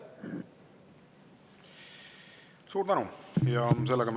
Suur tänu!